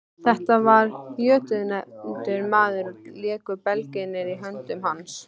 Þetta var jötunefldur maður og léku belgirnir í höndum hans.